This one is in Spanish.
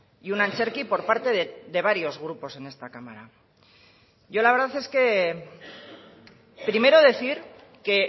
y un antzerki por parte de varios grupos en esta cámara yo la verdad es que primero decir que